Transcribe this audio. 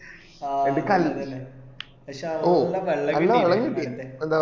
ആ അതെന്നെ പക്ഷെ അന്ന് നല്ല വെള്ളം കിട്ടീന്